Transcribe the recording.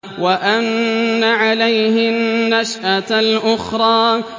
وَأَنَّ عَلَيْهِ النَّشْأَةَ الْأُخْرَىٰ